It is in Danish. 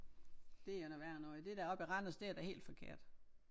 Det er noget værre noget det der oppe i Randers det er da helt forkert